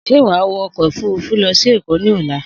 Sé wà á wọ ọkọ̀ òfurufú lọ sí Èkó ní ọ̀la?